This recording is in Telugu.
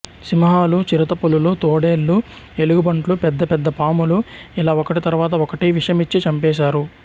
సింహాలు చిరుతపులులు తోడేళ్ళు ఎలుగుబంట్లు పెద్ద పెద్ద పాములు ఇలా ఒకటి తరువాత ఒకటి విషమిచ్చి చంపేశారు